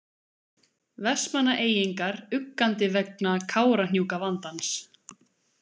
Vestmannaeyingar uggandi vegna Kárahnjúkavandans.